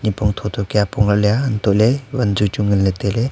pongthotho kya apong lakley ah hantohley wunchui nganley tailey.